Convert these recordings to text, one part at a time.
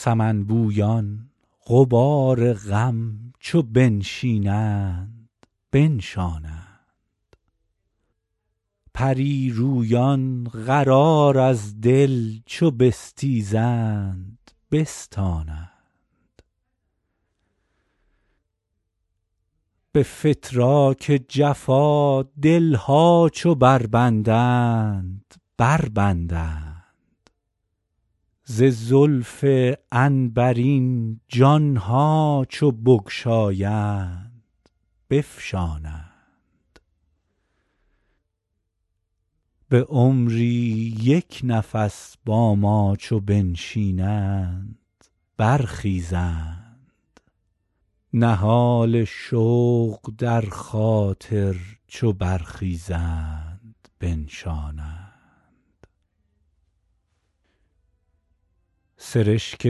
سمن بویان غبار غم چو بنشینند بنشانند پری رویان قرار از دل چو بستیزند بستانند به فتراک جفا دل ها چو بربندند بربندند ز زلف عنبرین جان ها چو بگشایند بفشانند به عمری یک نفس با ما چو بنشینند برخیزند نهال شوق در خاطر چو برخیزند بنشانند سرشک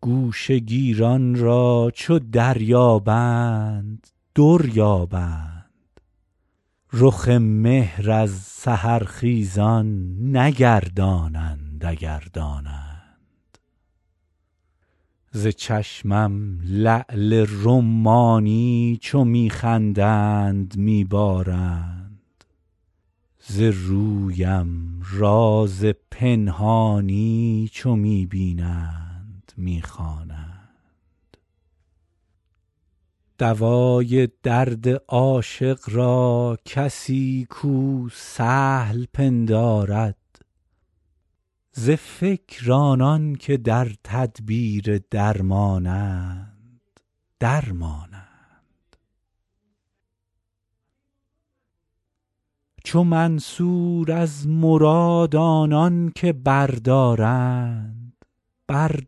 گوشه گیران را چو دریابند در یابند رخ مهر از سحرخیزان نگردانند اگر دانند ز چشمم لعل رمانی چو می خندند می بارند ز رویم راز پنهانی چو می بینند می خوانند دوای درد عاشق را کسی کو سهل پندارد ز فکر آنان که در تدبیر درمانند در مانند چو منصور از مراد آنان که بردارند بر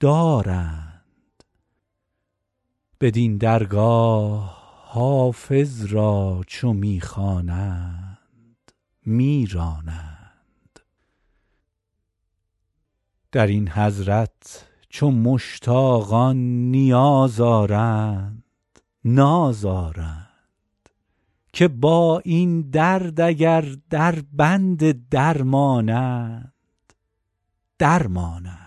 دارند بدین درگاه حافظ را چو می خوانند می رانند در این حضرت چو مشتاقان نیاز آرند ناز آرند که با این درد اگر دربند درمانند در مانند